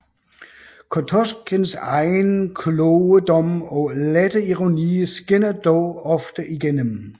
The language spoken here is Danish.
Kotosjikhins egen kloge dom og lette ironi skinner dog ofte igennem